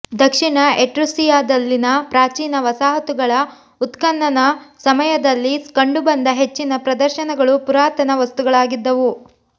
ದಕ್ಷಿಣ ಎಟ್ರುಸ್ಸಿಯಾದಲ್ಲಿನ ಪ್ರಾಚೀನ ವಸಾಹತುಗಳ ಉತ್ಖನನ ಸಮಯದಲ್ಲಿ ಕಂಡು ಬಂದ ಹೆಚ್ಚಿನ ಪ್ರದರ್ಶನಗಳು ಪುರಾತನ ವಸ್ತುಗಳಾಗಿದ್ದವು